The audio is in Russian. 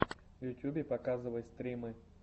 в ютьюбе показывай стримы